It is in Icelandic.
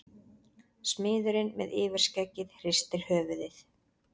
Smiðurinn með yfirskeggið hristir höfuðið.